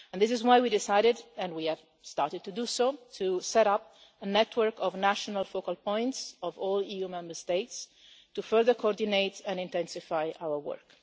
This is why we decided, and we have started to do so, to set up a network of national focal points of all EU Member States to further coordinate and intensify our work.